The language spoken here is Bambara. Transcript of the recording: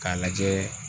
K'a lajɛ